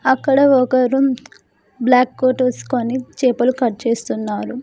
అక్కడ ఒకరు black coat వెస్కొని చేపలు కట్ చేస్తున్నారు.